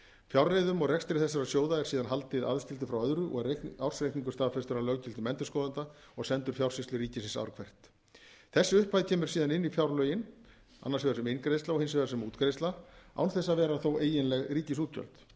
fjárreiðum og rekstri þessara sjóða er síðan haldið aðskildum frá öðru og er ársreikningur staðfestur af löggiltum endurskoðanda og sendur fjársýslu ríkisins ár hvert þessi upphæð kemur síðan inn í fjárlögin annars vegar sem inngreiðsla og hins vegar sem útgreiðsla án þess þó að vera eiginleg ríkisútgjöld